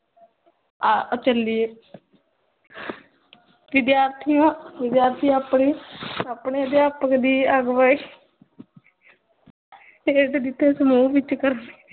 ਆ ਅਹ ਚਲਿਏ ਵਿਦਿਆਰਥੀਆਂ, ਵਿਦਿਆਰਥੀ ਆਪਣੇ, ਆਪਣੇ ਅਦਿਆਪਕ ਦੀ ਆਗਵਾਈ, ਦੇ ਦਿਤ ਸਮੂਹ ਵਿਚ ਕਰਨਗੇ